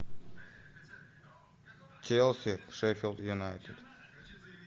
челси шеффилд юнайтед